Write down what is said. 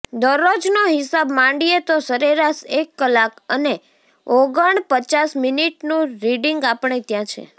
દરરોજનો હિસાબ માંડીએ તો સરેરાશ એક કલાક અને ઓગણપચાસ મિનિટનું રીડિંગ આપણે ત્યાં છે